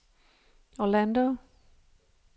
Orlando